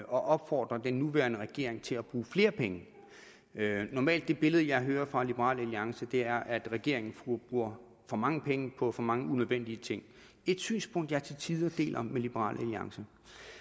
og opfordre den nuværende regering til at bruge flere penge det normale billede det jeg hører fra liberal alliance er at regeringen bruger for mange penge på for mange unødvendige ting et synspunkt jeg til tider deler med liberal alliance